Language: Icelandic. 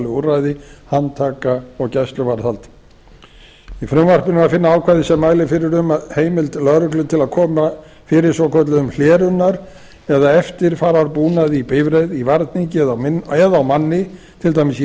úrræði handtaka og gæsluvarðhald í frumvarpinu er að finna ákvæði sem mælir fyrir um að heimild lögreglu til að koma fyrir svokölluðum hlerunar eða eftirfararbúnaði í bifreið í varningi eða á manni til dæmis í